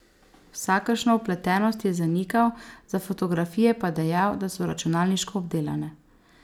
Vsakršno vpletenost je zanikal, za fotografije pa dejal, da so računalniško obdelane.